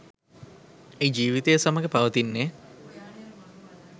එය ජීවිතය සමඟ පවතින්නේ